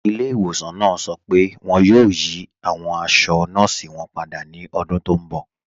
Ìlẹ̀-ìwọ̀sàn náà sọ pé wọn yóò yí awọn àṣọ̀ nọọ̀sí wọn pádà ní ọ̀dún tó nbọ̀